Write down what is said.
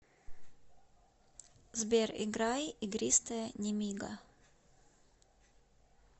сбер играй игристое немига